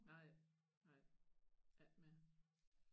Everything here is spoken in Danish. Nej nej ikke mere